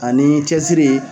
Ani ni cɛsiri